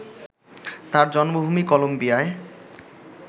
তাঁর জন্মভূমি কলম্বিয়ায়